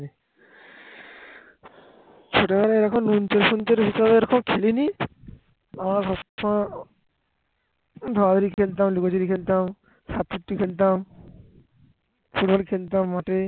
football খেলতাম মাঠে